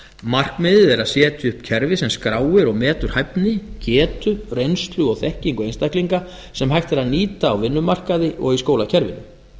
markmiðið er að setja upp kerfi sem skráir og metur hæfni getu reynslu og þekkingu einstaklinga sem hægt er að nýta á vinnumarkaði og í skólakerfinu